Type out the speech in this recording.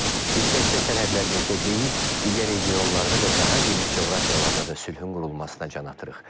Biz təkcə sərhədlərimizdə deyil, digər regionlarda və daha geniş coğrafiyalarda da sülhün qurulmasına can atırıq.